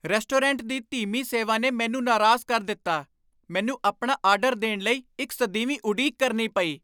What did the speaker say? Restaurant ਦੀ ਧੀਮੀ ਸੇਵਾ ਨੇ ਮੈਨੂੰ ਨਾਰਾਜ਼ ਕਰ ਦਿੱਤਾ। ਮੈਨੂੰ ਆਪਣਾ ਆਰਡਰ ਦੇਣ ਲਈ ਇੱਕ ਸਦੀਵੀ ਉਡੀਕ ਕਰਨੀ ਪਈ!